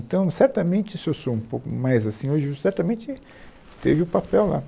Então, certamente se eu sou um pouco mais assim hoje, certamente teve o papel lá.